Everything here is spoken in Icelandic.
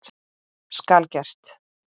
Skal gert!